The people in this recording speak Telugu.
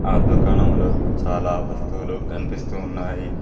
ఆ దుకాణంలో చాలా వస్తువులు కనిపిస్తూ ఉన్నాయి.